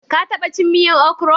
ka taba cin miyan okro?